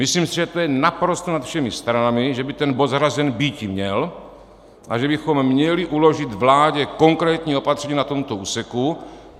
Myslím si, že to je naprosto nad všemi stranami, že by ten bod zařazen býti měl a že bychom měli uložit vládě konkrétní opatření na tomto úseku.